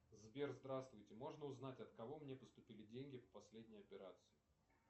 сбер здравствуйте можно узнать от кого мне поступили деньги в последней операции